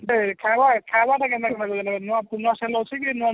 ଗୁଟେ ଖାଇବା ଖାଇବା ଟା କେନ୍ତା କହିଲ ନୂଆ ପୁରୁନା ସାଲ ଅଛିକି ନୂଆ ନୂଆ